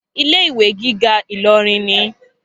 Ilé ìwé gíga Ìlọrin ni.